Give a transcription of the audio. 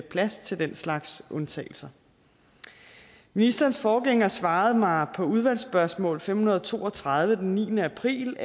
plads til den slags undtagelser ministerens forgænger svarede mig på udvalgsspørgsmål nummer fem hundrede og to og tredive den niende april